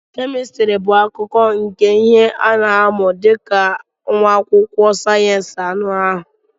Chemistry bụ akụkụ nke ihe ị na-amụ dị ka nwa akwụkwọ sayensị anụ ahụ.